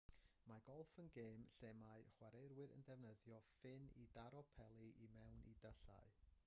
mae golff yn gêm lle mae chwaraewyr yn defnyddio ffyn i daro peli i mewn i dyllau